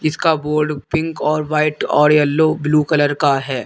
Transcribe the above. इसका board pink और white और येलो ब्लू कलर का है।